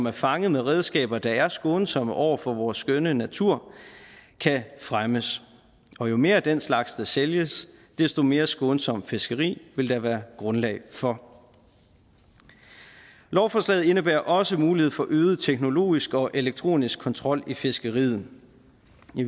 er fanget med redskaber der er skånsomme over for vores skønne natur kan fremmes og jo mere af den slags der sælges desto mere skånsomt fiskeri vil der være grundlag for lovforslaget indebærer også mulighed for øget teknologisk og elektronisk kontrol i fiskeriet